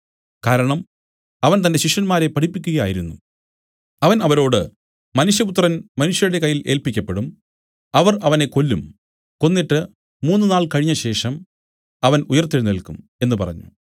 കാരണം അവൻ തന്റെ ശിഷ്യന്മാരെ പഠിപ്പിക്കുകയായിരുന്നു അവൻ അവരോട് മനുഷ്യപുത്രൻ മനുഷ്യരുടെ കയ്യിൽ ഏല്പിക്കപ്പെടും അവർ അവനെ കൊല്ലും കൊന്നിട്ട് മൂന്നുനാൾ കഴിഞ്ഞശേഷം അവൻ ഉയിർത്തെഴുന്നേല്ക്കും എന്നു പറഞ്ഞു